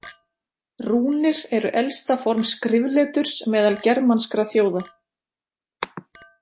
Rúnir eru elsta form skrifleturs meðal germanskra þjóða.